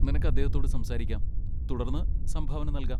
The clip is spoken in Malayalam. നിനക്ക് അദ്ദേഹത്തോട് സംസാരിക്കാം, തുടർന്ന് സംഭാവന നൽകാം.